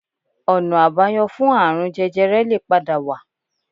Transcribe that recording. Ọ̀nà àbáyọ fún ààrun jẹjẹrẹ lè padà wà